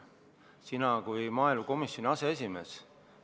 Sina oled maaelukomisjoni aseesimees.